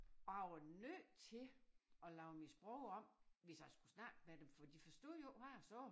Og jeg var nødt til at lave mit sprog om hvis jeg skulle snakke med dem for de forstod jo ikke hvad jeg sagde